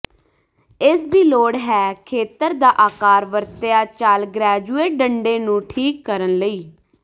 ਇਸ ਦੀ ਲੋੜ ਹੈ ਖੇਤਰ ਦਾ ਆਕਾਰ ਵਰਤਿਆ ਚੱਲ ਗ੍ਰੈਜੂਏਟ ਡੰਡੇ ਨੂੰ ਠੀਕ ਕਰਨ ਲਈ